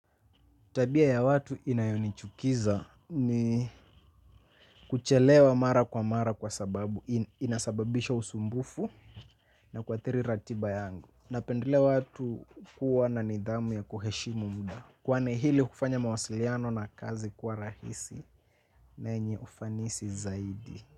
Tabia ya watu inayonichukiza ni kuchelewa mara kwa mara kwa sababu, inasababisha usumbufu na kuathiri ratiba yangu. Napendelea watu kuwa na nidhamu ya kuheshimu muda. Kwani ili kufanya mawasiliano na kazi kwa rahisi na yenye ufanisi zaidi.